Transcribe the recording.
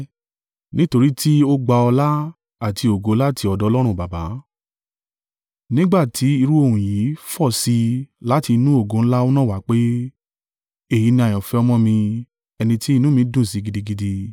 Nítorí tí Ó gba ọlá àti ògo láti ọ̀dọ̀ Ọlọ́run Baba, nígbà tí irú ohùn yìí fọ̀ sí i láti inú ògo ńlá náà wá pé, “Èyí ni àyànfẹ́ ọmọ mi, ẹni tí inú mi dùn sí gidigidi.”